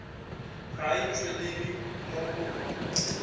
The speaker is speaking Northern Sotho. ga e tšwelele mo go